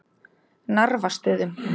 Narfastöðum